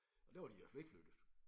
Og der var de i hvert fald ikke flyttet